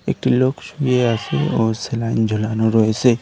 একটি লোক শুয়ে আছে ও স্যালাইন ঝোলানো রয়েসে।